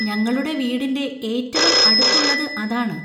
ഞങ്ങളുടെ വീടിൻ്റെ ഏറ്റവും അടുത്തുള്ളത് അതാണ്.